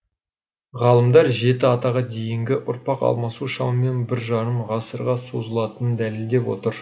ғалымдар жеті атаға дейінгі ұрпақ алмасу шамамен біржарым ғасырға созылатынын дәлелдеп отыр